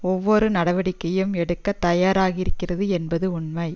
ஒவ்வொரு நடவடிக்கையையும் எடுக்க தயாராக இருக்கிறது என்பது உண்மை